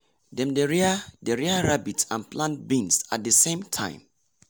dem dey rear dey rear rabbit and plant beans at the same time.